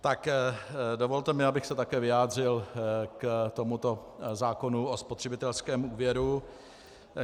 Tak dovolte mi, abych se také vyjádřil k tomuto zákonu o spotřebitelském úvěru.